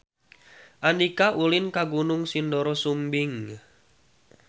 Andika ulin ka Gunung Sindoro Sumbing